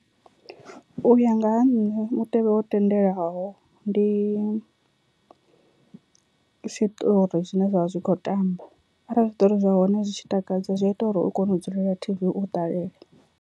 U ya nga ha nṋe mutevhe wo tendelwaho ndi zwiṱori zwine zwa vha zwi kho tamba arali zwiṱori zwa hone zwi tshi takadza zwi ita uri u kone u dzulela T_V u ṱalele.